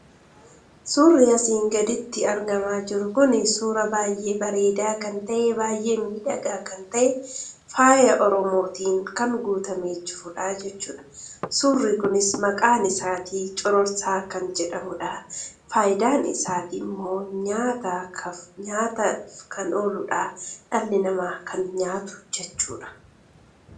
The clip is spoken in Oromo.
Suurri asiin gaditti argamaa jiru kun suuraa baay'ee bareedaa kan ta'e baay'ee miidhagaa kan ta'e faaya oromootiin kan guutamee jirudha jechuudha. Suurri kunis maqaan isaa cororsaa kan jedhamudha. Fayidaan isaammoo nyaataaf kan ooludha. Dhalli namaa kan nyaatu jechuudha.